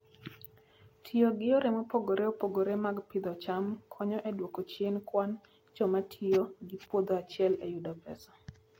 Tiyo gi yore mopogore opogore mag pidho cham konyo e duoko chien kwan joma tiyo gi puodho achiel e yudo pesa.